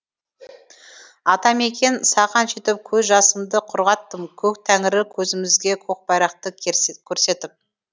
атамекен саған жетіп көз жасымды құрғаттым көк тәңірі көзімізге көкбайрақты көрсетіп